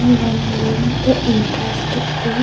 one month entrance free --